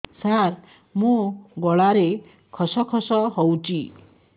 ସାର ମୋ ଗଳାରେ ଖସ ଖସ ହଉଚି